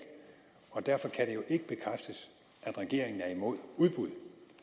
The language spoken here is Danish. og derfor kan det jo ikke bekræftes at regeringen er imod udbud